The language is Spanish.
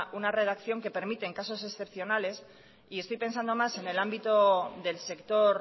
una redacción que permiten en casos excepcionales y estoy pensando más en el ámbito del sector